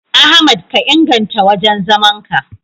Ahmad ka inganta wajen zaman ka.